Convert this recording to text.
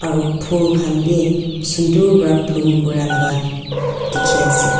aru phul khan bhi sunder para bloom kora laga dekhi ase.